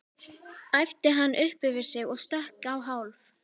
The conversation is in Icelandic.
æpti hann upp yfir sig og stökk á hálf